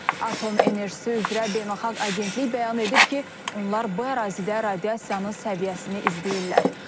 Atom Enerjisi üzrə Beynəlxalq Agentlik bəyan edib ki, onlar bu ərazidə radiasiyanın səviyyəsini izləyirlər.